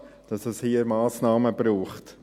Es ist klar, dass es hier Massnahmen braucht.